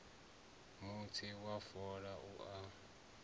mutsi wa fola u a